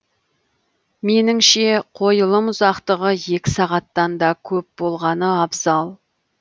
меніңше қойылым ұзақтығы екі сағаттан да көп болғаны абзал